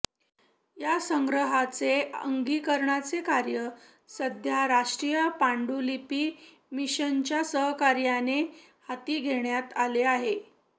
या संग्रहाचे अंकीकरणाचे कार्य सध्या राष्ट्रीय पांडुलिपी मिशनच्या सहकार्याने हाती घेण्यात आलेले आहे